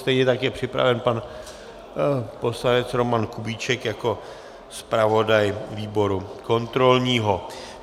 Stejně tak je připraven pan poslanec Roman Kubíček jako zpravodaj výboru kontrolního.